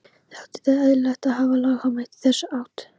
Þótti því eðlilegt að hafa lagaheimild í þessa átt.